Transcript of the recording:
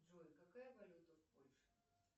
джой какая валюта в польше